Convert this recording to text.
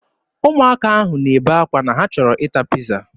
Ụmụaka ahụ na-ebe akwa na ha chọrọ ịta piiza.